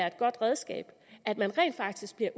et godt redskab at man rent faktisk bliver